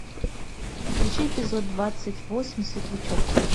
включи эпизод двадцать восемь светлячок